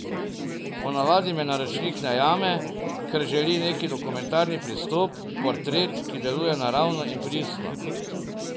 Ponavadi me naročnik najame, ker želi neki dokumentarni pristop, portret, ki deluje naravno in pristno.